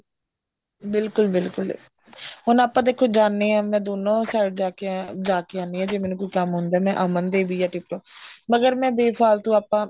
ਬਿਲਕੁਲ ਬਿਲਕੁਲ ਹੁਣ ਆਪਾਂ ਦੇਖੋ ਜਾਂਦੇ ਆ ਮੈਂ ਦੋਨੋ side ਜਾਕੇ ਜਾਕੇ ਆਉਣੀ ਆ ਜੇ ਮੈਂ ਮੈਨੂੰ ਕੋਈ ਕੰਮ ਹੁੰਦਾ ਮੈਂ ਅਮਨ ਦੇ ਵੀ tip top ਮਗਰ ਮੈਂ ਬੇਫਾਲਤੁ ਆਪਾਂ